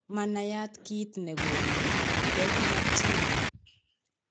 Manayat kiit negonu Bednar tumor